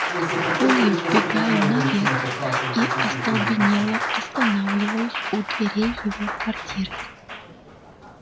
пулей вбегаю наверх и остолбенело останавливаюсь у дверей его квартиры